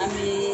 An bɛ